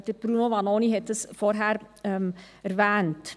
Bruno Vanoni hat dies vorhin erwähnt.